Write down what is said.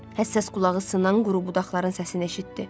Həssas qulağı sınan quru budaqların səsini eşitdi.